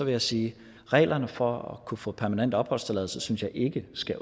jeg sige at reglerne for at kunne få permanent opholdstilladelse synes jeg ikke skal